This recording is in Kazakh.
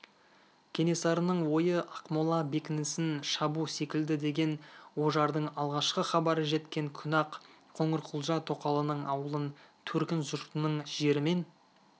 кенесарының ойы ақмола бекінісін шабу секілді деген ожардың алғашқы хабары жеткен күні-ақ қоңырқұлжа тоқалының ауылын төркін жұртының жерімен